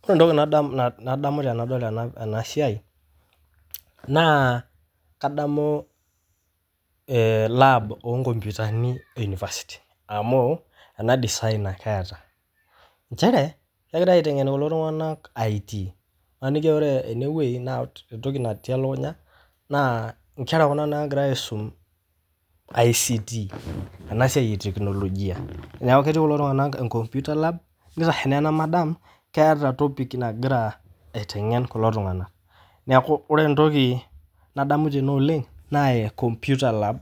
Kore entoki nadamu tenadol ena siai, naa kadamu laab oo nkoputani e university amu ana design ake eata, inchere egirai aitengen ltunganak IT maniki aa ore ene weji naa entoki natii lakunya naa inkerra kuna naagira aisum ICT ena isai etekinologia, naaku ketii kulo tunganak enkomputa laab, neitashe ana madam keeta entopic nagira aitangen kulo tunganak, neaku ore entoki nadamu tene oleng naa computer lab